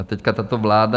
A teď tato vláda...